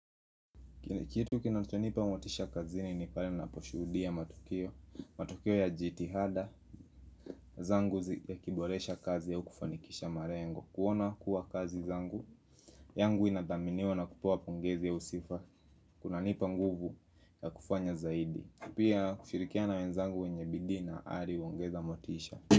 Kitu kinachonipa motisha kazini ni pale ninaposhudia matukio matukio ya jitihada zangu yakiboresha kazi au kufanikisha malengo kuona kuwa kazi zangu yangu inadhaminiwa na kupewa pongezi au sifa kunanipa nguvu ya kufanya zaidi. Pia kushirikiana na wenzangu wenye bidii na ari uongeza motisha.